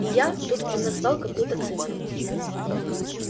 и я тут он назвал какую-то цифру